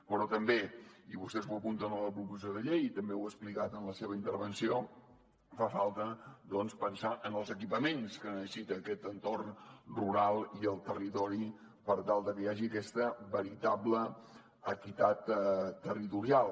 però també i vostès ho apunten a la proposició de llei i també ho ha explicat en la seva intervenció fa falta doncs pensar en els equipaments que necessita aquest entorn rural i el territori per tal de que hi hagi aquesta veritable equitat territorial